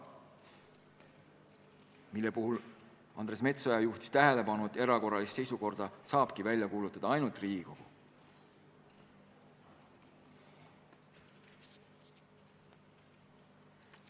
Mille puhul Andres Metsoja juhtis tähelepanu tõsiasjale, et erakorralise seisukorra saabki välja kuulutada ainult Riigikogu.